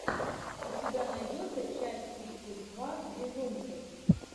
у тебя найдется часть тридцать два безумцев